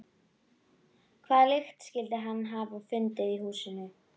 Hvaða lykt skyldi hann hafa fundið í húsinu?